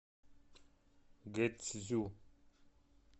гэцзю